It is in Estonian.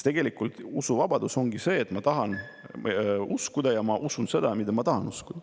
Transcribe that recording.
Tegelik usuvabadus ongi see, et ma tahan uskuda ja ma usun seda, mida ma tahan uskuda.